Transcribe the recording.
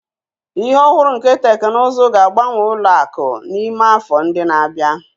Ihe ohuru nke teknụzụ ga-agbanwe ụlọ akụ n'ime afọ ndị na-abịa.